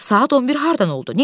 Saat 11 hardan oldu?